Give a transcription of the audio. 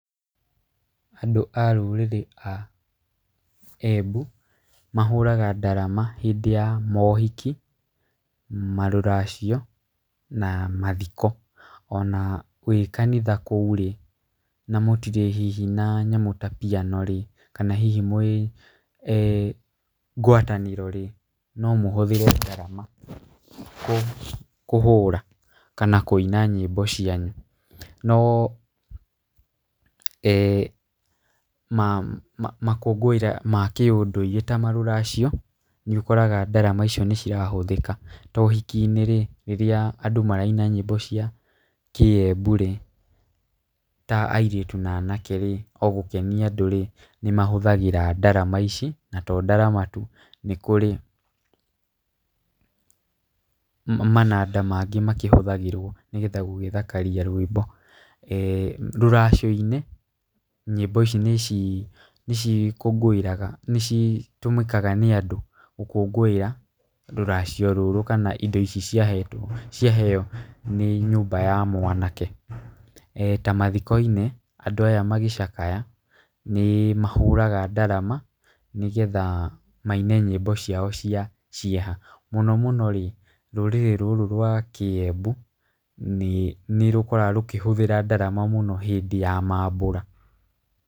Andũ a rũrĩrĩ a Embu, mahũraga ndarama hĩndĩ ya maũhiki, marũracio, na mathiko. Ona wĩ kanitha kũu rĩ, na mũtirĩ hihi na nyamũ ta piano rĩ, kana hihi mwĩ ngwatanĩroĩ, nomũhũthĩre ndarama kũhũra kana kũina nyĩmbo cianyu no makũngũĩra ma kĩũndũire ta rũracio, nĩũkoraga ndarama icio nĩcirahũthĩka. Ta ũhiki-inĩrĩ, rĩrĩa andũ maraina nyĩmbo cia kĩ-Emburĩ, ta airĩtu na anakerĩ, ogũkenia andũrĩ, nĩmahũthagĩra ndarama ici, na to ndarama tu, nĩkũrĩ mananda mangĩ makĩhũthagĩrwo nĩguo gũgĩthakaria rwĩmbo. Rũracio-inĩ, nyĩmbo ici nĩcikũngũĩraga nĩcitũmĩkaga nĩ andũ gũkũngũĩra rũracio rũrũ kana indo ici ciaheo nĩ nyũmba ya mwanake, ta mathiko-inĩ, andũ aya magĩcakaya, nĩmahũraga ndarama nĩgetha maine nyĩmbo ciao cia cĩeha. Mũno mũnorĩ, rũrĩrĩ rũrũ rwa kĩ-Embu nĩrũkoragwo rũkĩhũthĩra ndarama mũno hĩndĩ ya mambura.